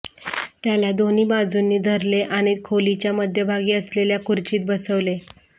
त्याला दोन्ही बाजूंनी धरले आणि खोलीच्या मध्यभागी असलेल्या खुर्चीत बसवले